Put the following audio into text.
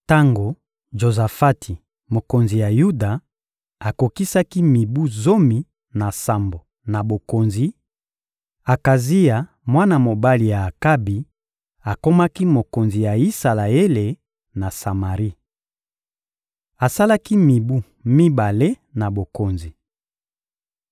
Tango Jozafati, mokonzi ya Yuda, akokisaki mibu zomi na sambo na bokonzi, Akazia, mwana mobali ya Akabi, akomaki mokonzi na Isalaele na Samari. Asalaki mibu mibale na bokonzi.